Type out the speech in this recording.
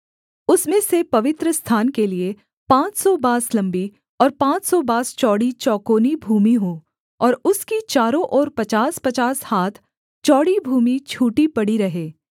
उसमें से पवित्रस्थान के लिये पाँच सौ बाँस लम्बी और पाँच सौ बाँस चौड़ी चौकोनी भूमि हो और उसकी चारों ओर पचासपचास हाथ चौड़ी भूमि छूटी पड़ी रहे